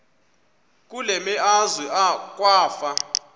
kule meazwe kwafa